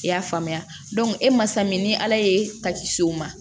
I y'a faamuya e ma san min ni ala ye ta kisi o ma